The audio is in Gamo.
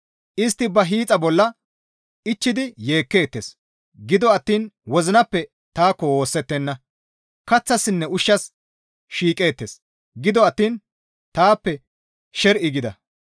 Istti ba hiixa bolla ichchidi yeekkeettes; gido attiin wozinappe taakko woosettenna; kaththassinne ushshas shiiqeettes; gido attiin taappe sher7i gida.